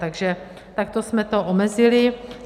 Takže takto jsme to omezili.